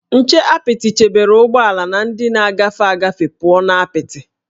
Nche apịtị chebere ụgbọala na ndị na-agafe agafe pụọ na apịtị